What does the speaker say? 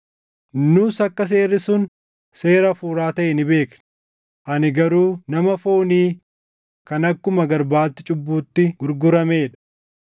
Nus akka seerri sun seera hafuuraa taʼe ni beekna; ani garuu nama foonii kan akkuma garbaatti cubbuutti gurguramee dha.